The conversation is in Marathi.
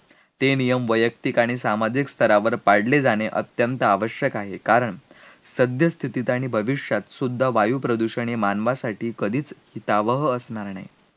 ते नियम वैयक्तिक आणि सामाजिक स्तरावर पाडले जाणे अत्यंत आवश्यक आहे, कारण सध्यस्थितीत आणि भविष्यातसुद्धा वायुप्रदूषणाने मानवासाठी कधीच जावंह असणार नाही